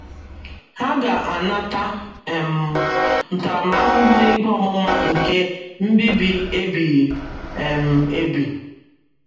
Ha “ ga - anata um ntaramahụhụ ikpe ọmụma nke mbibi ebighị um ebi. ”